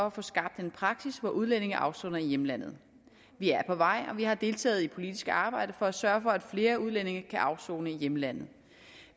at få skabt en praksis hvor udlændinge afsoner i hjemlandet vi er på vej og vi har deltaget i det politiske arbejde for at sørge for at flere udlændinge kan afsone i hjemlandet